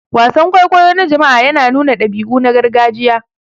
Wasan kwaikwayo na jama'a yana nuna dabi'u na gargajiya.